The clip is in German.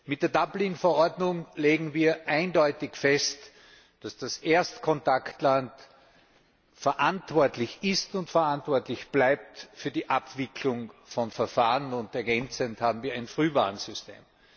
Mit der Dublin Verordnung legen wir eindeutig fest, dass das Erstkontaktland verantwortlich ist und verantwortlich bleibt für die Abwicklung von Verfahren, und ergänzend haben wir ein Frühwarnsystem.